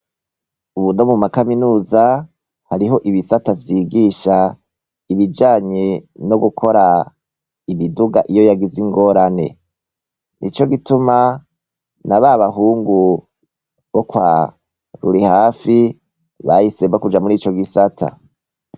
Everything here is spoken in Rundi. Ubu no mu makaminuza, hariho ibisata vyigisha ibijanye no gukora imiduga iyo yagize ingorane. Nico gituma, na ba bahungu bo kwa Rurihafi, bahisemwo kuja muri ico gisata.